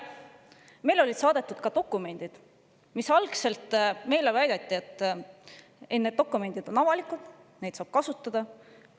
Meile oli saadetud ka dokumendid ja algselt meile väideti, et need dokumendid on avalikud, neid saab kasutada.